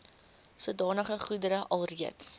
sodanige goedere alreeds